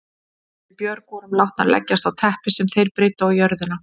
Við Björg vorum látnar leggjast á teppi sem þeir breiddu á jörðina.